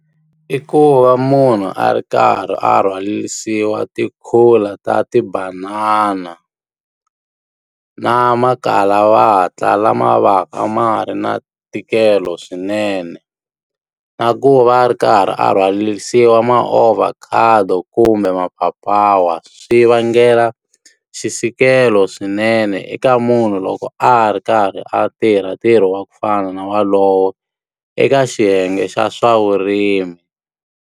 I ku va munhu a ri karhi a rhwarisiwa tikhula ta tibanana, na makalavatla lama va ka ma ri na ntikelo swinene. Na ku va a ri karhi a rhwarisiwa ma-ovacado kumbe mapapawa, swi vangela xisikelo swinene eka munhu loko a ri karhi a tirha ntirho wa ku fana na walowo, eka xiyenge xa swa vurimi.